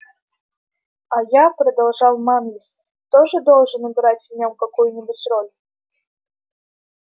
а я продолжал манлис тоже должен играть в нём какую-нибудь роль